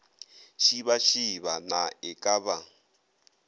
šibašiba na e ka ba